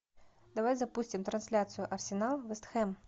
давай запустим трансляцию арсенал вест хэм